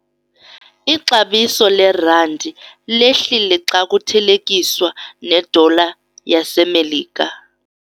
Ixabiso lerandi lehlile xa kuthelekiswa nedola yaseMelika.